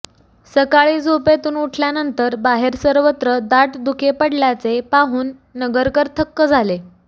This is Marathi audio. सकाळी झोपेतून उठल्यानंतर बाहेर सर्वत्र दाट धुके पडल्याचे पाहून नगरकर थक्क झाले